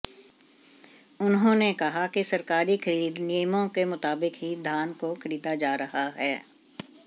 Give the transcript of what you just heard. उन्होंने कहा कि सरकारी खरीद नियमों के मुताबिक ही धान को खरीदा जा रहा है